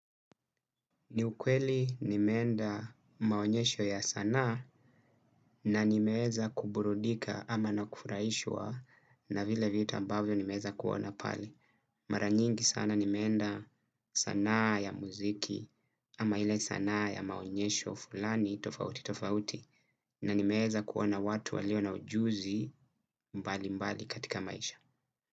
Ni ukweli nimeenda maonyesho ya sanaa na nimeweza kuburudika ama na kufurahishwa na vile vitu ambavyo nimeeza kuona pale. Mara nyingi sana nimeenda sanaa ya muziki ama ile sana ya maonyesho fulani tofauti tofauti na nimeeza kuona watu walio na ujuzi mbali mbali katika maisha.